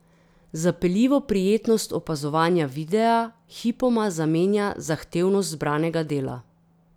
Zapeljivo prijetnost opazovanja videa hipoma zamenja zahtevnost zbranega dela.